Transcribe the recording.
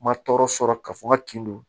Ma tɔɔrɔ sɔrɔ ka fɔ n ka kin don